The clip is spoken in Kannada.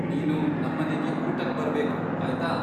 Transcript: ನೀನು ನಮ್ಮನೆಗೆ ಊಟಕ್ಬರ್ಬೇಕು ಆಯ್ತಾ.